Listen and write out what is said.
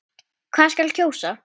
Hvað skal kjósa?